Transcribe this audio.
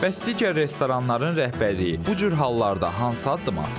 Bəs digər restoranların rəhbərliyi bu cür hallarda hansı addım atırlar?